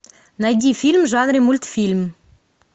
найди фильм в жанре мультфильм